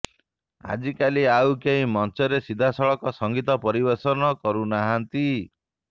ଆଜିକାଲି ଆଉ କେହି ମଞ୍ଚରେ ସିଧାସଳଖ ସଙ୍ଗୀତ ପରିବେଷଣ କରୁ ନାହାନ୍ତି